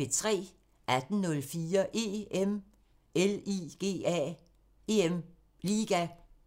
18:04: EM LIGA